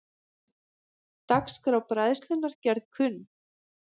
Dagskrá Bræðslunnar gerð kunn